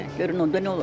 Görün onda nə olacaq.